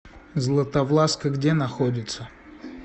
златовласка где находится